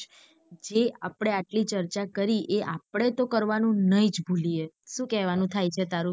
જે આપડે આટલી ચર્ચા કરી એ આપડે તો કરવાનું નહિ જ ભુલીયે સુ કહેવાનું થાય છે તારું.